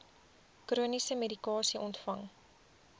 chroniese medikasie ontvang